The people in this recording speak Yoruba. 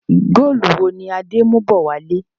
Góólù wo ni Adé ń mú bọ̀ wálé?